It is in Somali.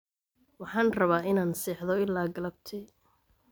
Waxaan rabaa inaan seexdo ilaa galabtii.